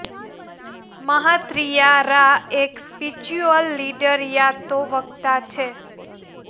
મહાત્રિયા રા એક spiritual leader યા તો વક્તા છે